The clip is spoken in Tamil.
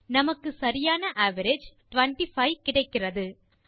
நமக்கு சரியான அவரேஜ் 25 கிடைக்கிறது